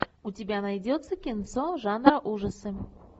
у тебя найдется кинцо жанра ужасы